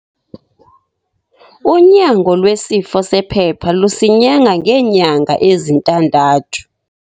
Unyango lwesifo sephepha lusinyanga ngeenyanga ezintandathu.